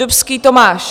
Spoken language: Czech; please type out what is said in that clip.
Dubský Tomáš.